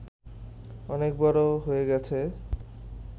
অনেক বড় হয়ে গেছে